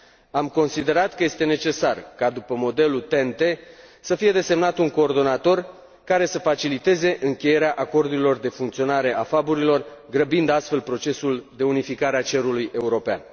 Am considerat că este necesar ca, după modelul TEN T, să fie desemnat un coordonator care să faciliteze încheierea acordurilor de funcționare a FAB, grăbind astfel procesul de unificare a cerului european.